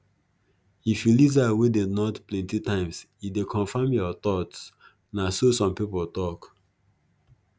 if you lizard wey dey nod plenty times e dey confirm your thoughts na so some people tok